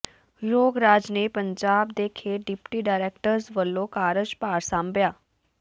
ਯੋਗ ਰਾਜ ਨੇ ਪੰਜਾਬ ਦੇ ਖੇਡ ਡਿਪਟੀ ਡਾਇਰੈਕਟਰ ਵਜੋਂ ਕਾਰਜ ਭਾਰ ਸਾਂਭਿਆ